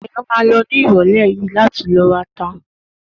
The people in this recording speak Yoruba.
Dayo ma lọ sí ní ìrọ̀lẹ́ yìí láti ló rata